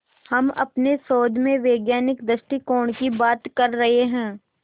हम अपने शोध में वैज्ञानिक दृष्टिकोण की बात कर रहे हैं